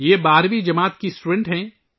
وہ بارہویں جماعت کی طالبہ ہے